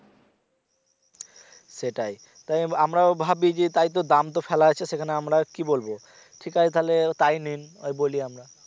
সেটাই তাই আমরা ভাবি যে তাইতো দাম ফেলা আছে আমরা আর সেখানে কি বলব ঠিক আছে তাহলে তাই নিন ওই বলি আমরা